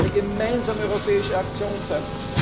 Es muss eine gemeinsame europäische Aktion